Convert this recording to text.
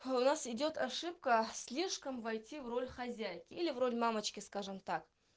а у нас идёт ошибка слишком войти в роль хозяйки или в роль мамочки скажем так